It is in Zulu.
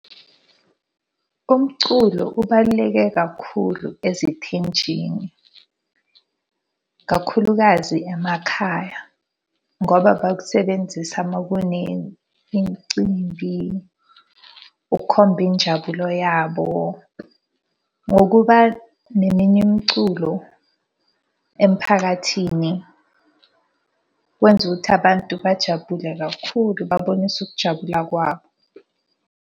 Umculo ubaluleke kakhulu ezithenjini. Kakhulukazi emakhaya, ngoba bakusebenzisa uma kune imicimbi, ukukhomba injabulo yabo. Ngokuba neminye imiculo emphakathini kwenza ukuthi abantu bajabule kakhulu babonise ukujabula kwabo.